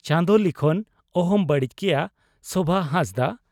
ᱪᱟᱸᱫᱚ ᱞᱤᱠᱷᱚᱱ ᱚᱦᱚᱢ ᱵᱟᱹᱲᱤᱡ ᱠᱮᱭᱟ (ᱥᱚᱵᱷᱟ ᱦᱟᱸᱥᱫᱟᱜ)